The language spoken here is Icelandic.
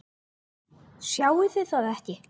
Sjáið þið ekki?